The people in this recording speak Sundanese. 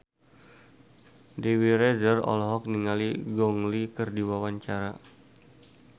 Dewi Rezer olohok ningali Gong Li keur diwawancara